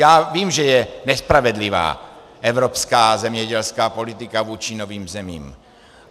Já vím, že je nespravedlivá evropská zemědělská politika vůči novým zemím.